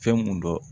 Fɛn mun dɔn